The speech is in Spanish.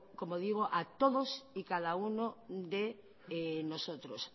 como digo a todos y a cada uno de nosotros